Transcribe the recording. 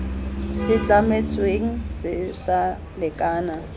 se tlametsweng se sa lekana